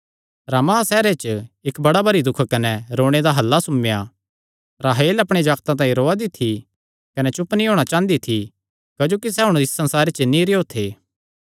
रामाह सैहरे च इक्क बड़ा भरी दुख कने रोणे दा हल्ला सुम्मेयां राहेल अपणे जागतां तांई रौआ दी थी कने चुप नीं होणा चांह़दी थी क्जोकि सैह़ हुण इस संसारे च नीं रेहयो थे